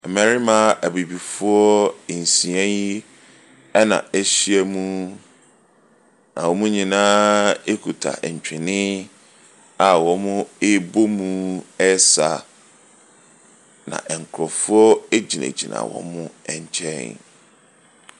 Mmarima abibifoɔ nsia yi ɛna ahyia mu na wɔn nyinaa kuta ntwene a ɔrebɔ mu ɔresa. Na nkorɔfoɔ egyinagyina wɔn kyɛn.